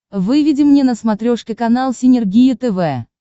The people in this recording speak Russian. выведи мне на смотрешке канал синергия тв